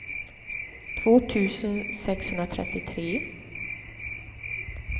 två tusen sexhundratrettiotre